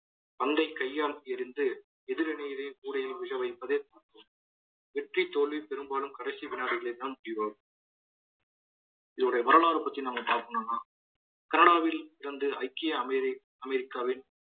பந்தை கையால் எறிந்து எதிர் அணியிலே கூடையை விழ வைப்பதை வெற்றி தோல்வி பெரும்பாலும் கடைசி வினாடிகளில் தான் தீர்வாகும் இதனுடைய வரலாறு பற்றி நாம பார்க்கணும்னா கனடாவில் இருந்து ஐக்கிய அமெரி~ அமெரிக்காவின்